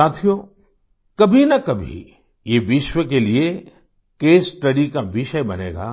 साथियो कभीनाकभी ये विश्व के लिए केस स्टडी का विषय बनेगा